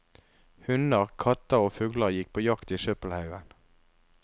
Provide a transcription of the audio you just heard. Hunder, katter og fugler gikk på jakt i søppelhaugen.